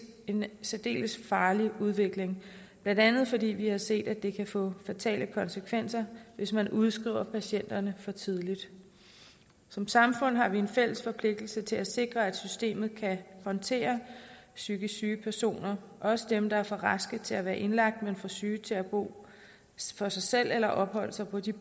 en særdeles farlig udvikling blandt andet fordi vi har set at det kan få fatale konsekvenser hvis man udskriver patienterne for tidligt som samfund har vi en fælles forpligtelse til at sikre at systemet kan håndtere psykisk syge personer også dem der er for raske til at være indlagt men for syge til at bo for sig selv eller opholde sig på de